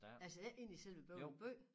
Altså ikke inde i selve Bøvling by?